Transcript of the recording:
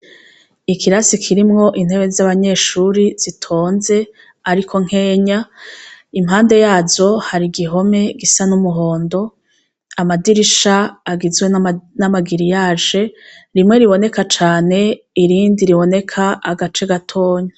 Ikirasi kirimwo intebe z'abanyeshure zitonze ariko nkenya. Impande yazo har'igihome gisa n'umuhondo. Amadirisha agizwe n'ama giriyaje, rimwe riboneka cane, irindi riboneka agace gatoya.